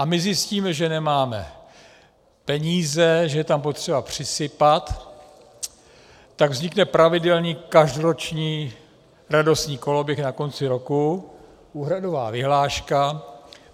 A my zjistíme, že nemáme peníze, že je tam potřeba přisypat, tak vznikne pravidelný každoroční radostný koloběh na konci roku, úhradová vyhláška.